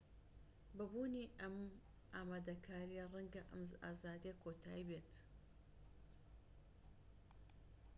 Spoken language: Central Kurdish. بە بوونی ئەم ئامادەکاریە ڕەنگە ئەم ئازادیە کۆتایی بێت